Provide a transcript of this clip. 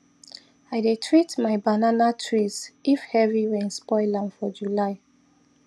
i dey treat my banana trees if heavy rain spoil am for july